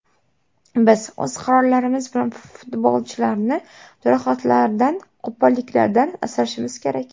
Biz o‘z qarorlarimiz bilan futbolchilarni jarohatlardan, qo‘polliklardan asrashimiz kerak.